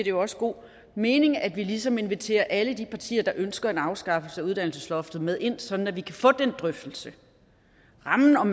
jo også god mening at vi ligesom inviterer alle de partier der ønsker en afskaffelse af uddannelsesloftet med ind sådan at vi kan få den drøftelse rammen om